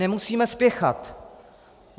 Nemusíme spěchat.